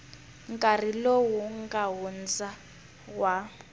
nkarhi lowu nga hundza wa